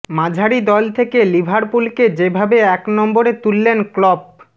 মাঝারি দল থেকে লিভারপুলকে যেভাবে এক নম্বরে তুললেন ক্লপ